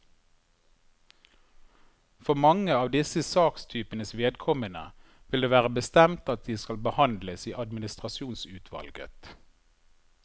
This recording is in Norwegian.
For mange av disse sakstypenes vedkommende vil det være bestemt at de skal behandles i administrasjonsutvalget.